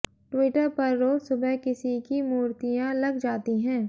Twitter पर रोज़ सुबह किसी की मूर्तियाँ लग जाती हैं